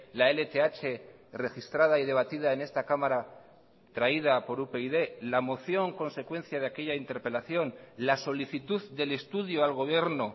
la lth registrada y debatida en esta cámara traída por upyd la moción consecuencia de aquella interpelación la solicitud del estudio al gobierno